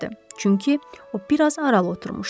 Çünki o biraz aralı oturmuşdu.